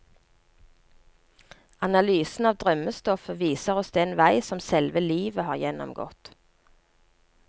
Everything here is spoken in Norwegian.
Analysen av drømmestoffet viser oss den vei som selve livet har gjennomgått.